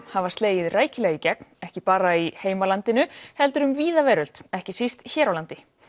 hafa slegið rækilega í gegn ekki bara í heimalandinu heldur um víða veröld ekki síst hér á landi